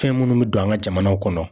Fɛn minnu bɛ don an ka jamanaw kɔnɔ